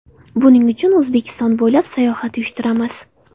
Buning uchun O‘zbekiston bo‘ylab sayohat uyushtiramiz.